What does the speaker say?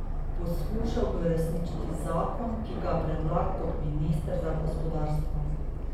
Poskušal bo uresničiti zakon, ki ga je predlagal kot minister za gospodarstvo.